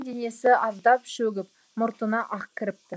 денесі аздап шөгіп мұртына ақ кіріпті